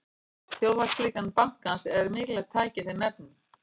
Þjóðhagslíkan bankans er mikilvægt tæki í þeim efnum.